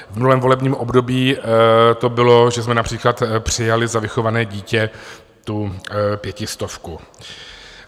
V minulém volebním období to bylo, že jsme například přijali za vychované dítě tu pětistovku.